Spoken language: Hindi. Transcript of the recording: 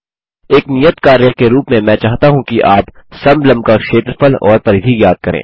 एक नियत कार्य के रूप में मैं चाहता हूँ कि आप समलंब का क्षेत्रफल और परिधि ज्ञात करें